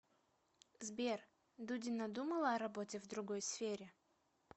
сбер дудина думала о работе в другой сфере